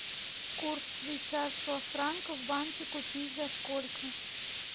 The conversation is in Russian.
курс швейцарского франка в банке купить за сколько